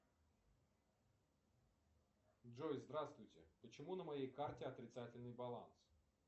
джой здравствуйте почему на моей карте отрицательный баланс